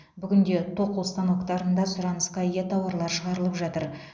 бүгінде тоқу станоктарында сұранысқа ие тауарлар шығарылып жатыр